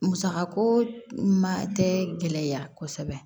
Musaka ko ma tɛ gɛlɛya kosɛbɛ